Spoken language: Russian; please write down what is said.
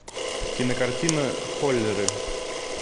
кинокартина холлеры